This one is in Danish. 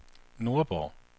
Nordborg